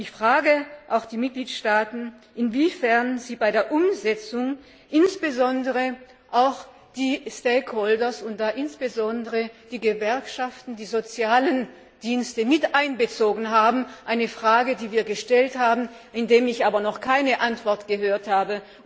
Ich frage auch die Mitgliedstaaten, inwiefern sie bei der Umsetzung insbesondere auch die stakeholders und da insbesondere die Gewerkschaften und die sozialen Dienste, mit einbezogen haben. Eine Frage, die wir gestellt haben, zu der ich aber noch keine Antwort gehört habe.